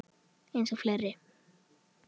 Eins og fleiri.